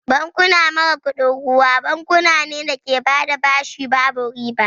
Bankuna mara kuɗin ruwa bankuna ne da ke bada bashi babu riba